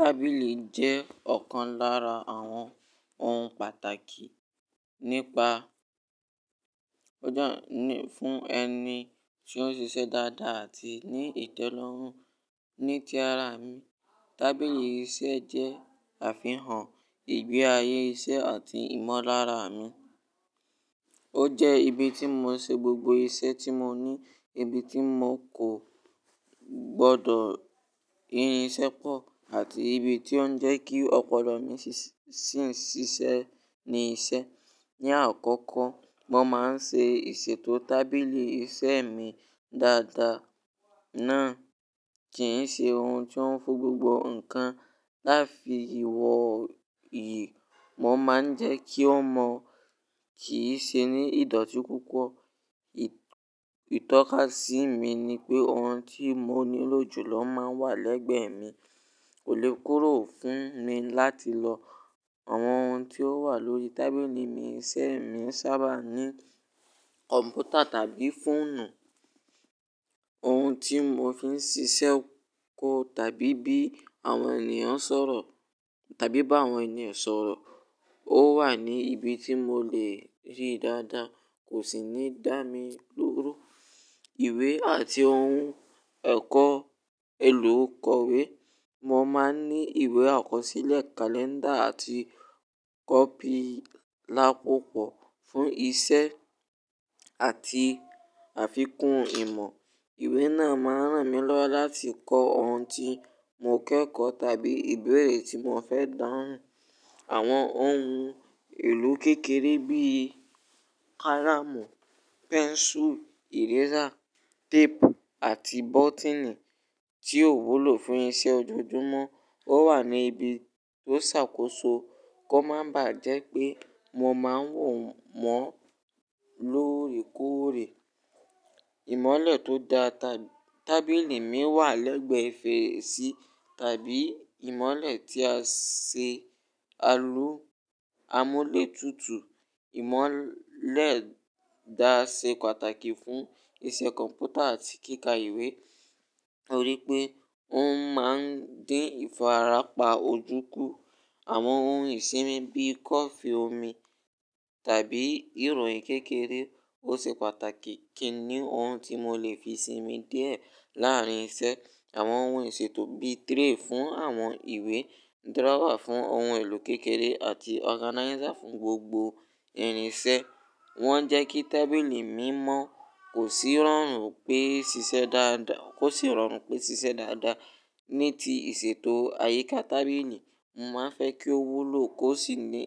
Tábìlì jẹ́ ọ̀kan lára àwọn ohun pàtàkì nípa fún ẹni tí ó ń ṣiṣẹ́ dáadáa àti ní ìtẹ́lọ́rùn. Ní ti ara mi, tábìlì iṣẹ́ jẹ́ àfihàn ìgbé ayé iṣẹ́ àti ìmọ̀lára mi. Ó jẹ́ ibi tí mò ń ṣe gbogbo iṣẹ́ tí mò ní, ibi tí mò kò gbọdọ̀ rin iṣẹ́ pọ̀ àti ibi tí ó ń jẹ́ kí ọ̀pọ̀lọpọ̀ mi sì ṣíṣe ní iṣẹ́. Ni àkọ́kọ́, mo máa ń ṣe ìṣètò tábìlì iṣẹ́ mi dáadáa náà kí n ṣe ohun tí ó ń fo gbogbo nǹkan. Láti ìwọ̀ yìí, mo máa ń jẹ́ kí ó mọ̀ kí í ṣe ní ìdọ̀tí púpọ̀. Itọ́kasí mi ni pé ohun tí mò nílò jùlọ máa ń wà lẹ́gbẹ̀ẹ́ mi, kò lè kúrò fún mi láti lọ. Àwọn ohun tí ó wà lórí tábìlì mi iṣẹ́ mi sábà ní kọ̀mpútà tàbí fóònù, ohun tí mò fi ń ṣiṣẹ́ kó tàbí bí àwọn ènìyàn ń sọ̀rọ̀ tàbí bá àwọn ènìyàn sọ̀rọ̀. Ó wà ní ibi tí mò lè rí dáadáa, kò sì ní dá mi lóró. Ìwé àti ohun ẹ̀kọ́, èlò kọ̀wé, mo máa ń ní ìwé àkọsílẹ̀, kalẹ́ndà àti kọ́pì lápapọ̀ fún iṣẹ́ àti àfikún ìmọ̀. Ìwé náà máa ń ràn mí lọ́wọ́ láti kọ ohun tí mò ń kẹ́kọ̀ọ́ tàbí ìbéèrè tí mò fẹ́ dáhùn. Àwọn ohun èlò kékeré bíi kárámù, pẹ́nsù, ẹ̀résà, téèpù àti bọ́tìnì tí ò wúlò fún iṣẹ́ ojoojúmọ́, ó wà ní ibi tó ṣàkóso kó máa bàá jẹ́ pé mo máa ń wò mọ́ lóòrèkóòrè. Ìmọ́lẹ̀ tó da tábìlì mi wà lẹ́gbẹ̀ẹ́ fèrèsí tàbí ìmọ́lẹ̀ tí a ṣe alù. Amúlétutù ìmọ́lẹ̀ dá ṣe pàtàkì fún iṣẹ́ kọ̀mpútà àti kíkà ìwé, ó rí pé òun máa ń dín ìfarapà ojú ku. Àwọn ohun ìsinmi bíi kọfì, omi tàbí ìròyìn kékeré ó ṣe pàtàkì kí i ní ohun tí mò lè fi sinmi díẹ̀ láàrin iṣẹ́. Àwọn ohun ìṣètò bíi tray fún àwọn ìwé, drawer fún ohun èlò kékeré àti organizer fún gbogbo irinṣẹ́. Wọ́n jẹ́ kí tábìlì mi mọ́ kó sì rọrùn pé ṣiṣẹ́ dáadáa, kó sì rọrùn pé ṣiṣẹ́ dáadáa. Ní ti ìṣètò àyíká tábìlì, mo máa ń fẹ́ kí ó wúlò kó sì ní,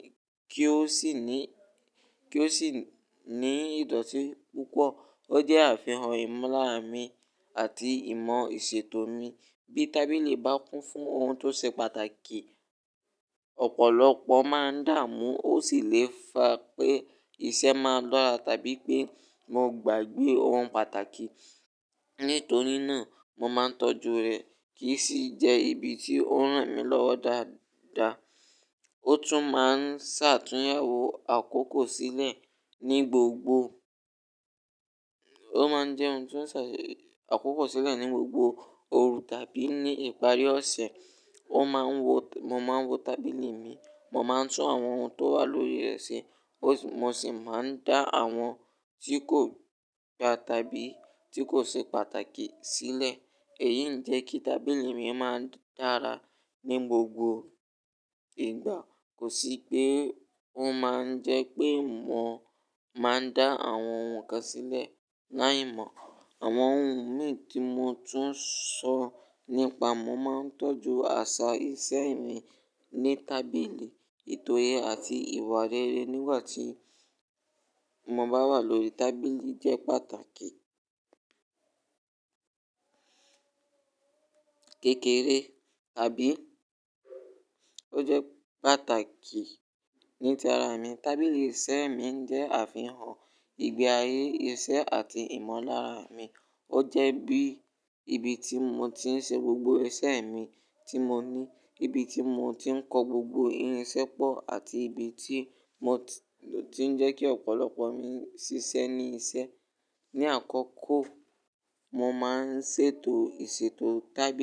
kí ó sì ní, kí ó sì ní ìdọ̀tí púpọ̀. O jẹ a fi han ìmọ̀ lára mìí àti ìmọ̀ ìṣètò mìí. Bí tábìlì bá kún fún ohun tó ṣe pàtàkì, ọ̀pọ̀lọpọ̀ máa ń dààmú ó sì lè fa pé iṣẹ́ máa lọ́ra tàbí pé mo gbàgbé ohun pàtàkì. Nítorí náà, mo máa ń tọ́jú rẹ̀ kí sì jẹ́ ibi tí ó ń ràn mí lọ́wọ́ dáadáa. O tun ma n ṣe àtúnyẹwò àkókò sílẹ̀ ni gbogbo, o ma n je oun to ṣe àtúnyẹwò àkókò sílẹ̀ ni gbogbo òru àbí ìparí ọsẹ. Ó máa ń wo, mo máa ń wo tábìlì mi, mo máa ń tún àwọn ohun tó wà lórí rẹ̀ ṣe, mo sì máa ń dá àwọn tí kò gba tàbí tí kò ṣe pàtàkì sílẹ̀. Èyí ń jẹ́ kí tábìlì mi máa dára ní gbogbo ìgbà. Kò sí pé ó máa ń jẹ́ pé mò máa ń dá àwọn ohun kan sílẹ̀ láì mọ̀. Àwọn ohun mi tí mo tún sọ nípa, mo máa ń tọ́jú àṣà iṣẹ́ mi ní tábìlì. Itoye àti ìwà rere nígbà tí mo bá wà lórí tábìlì jẹ́ pàtàkì. Kékéré, àbí? Ó jẹ́ pàtàkì ní ti ara mi. Tábìlì iṣẹ́ mi ń jẹ́ àfihàn ìgbé ayé iṣẹ́ àti ìmọ̀lára mi. Ó jẹ́ bí ibi tí mò ti ń ṣe gbogbo iṣẹ́ mi tí mò ní, ibi tí mò ti ń kọ gbogbo irinṣẹ́ pọ̀ àti ibi tí mò ti ń jẹ́ kí ọ̀pọ̀lọpọ̀ mi ṣíṣe ní iṣẹ́. Ni àkoko, mo máa ń ṣètò ìṣètò tábìlì.